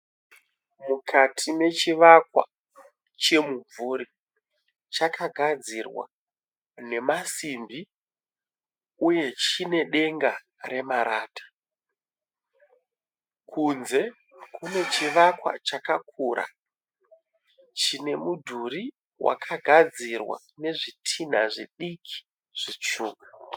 Mukati mechivakwa chemumvuri chakagadzirwa nemasimbi uye chiine denga remarata. Kunze kune chivakwa chakakura chine mudhuri wakagadzirwa nezvitinha zvidiki zvitsvuku.